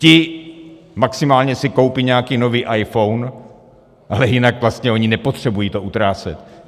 Ti maximálně si koupí nějaký nový iPhone, ale jinak vlastně oni nepotřebují to utrácet.